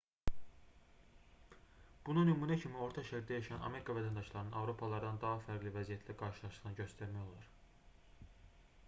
buna nümunə kimi orta şərqdə yaşayan amerika vətəndaşlarının avropalılardan daha fərqli vəziyyətlə qarşılaşdığını göstərmək olar